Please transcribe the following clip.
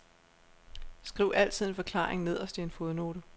Skriv altid en forklaring nederst i en fodnote.